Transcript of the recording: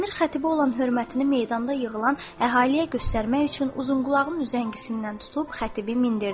Əmir xətibə olan hörmətini meydanda yığılan əhaliyə göstərmək üçün uzunqulağının üzəngisindən tutub xətibi mindirdi.